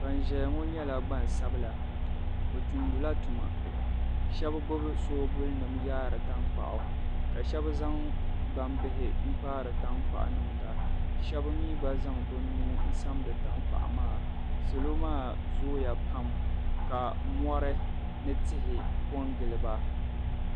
Ban zaya ŋɔ nyɛla gbansabila bɛ tumdila tuma shɛba gbubi shoobulinima yaari tankpaɣu ka shɛba zaŋ gbambihi n-kpaari tankpaɣu niŋda ka shɛba mi gba zaŋ bɛ nuu n-samdi tankpaɣu maa salo maa zooya pam ka mɔri ni tihi ko n-gili ba.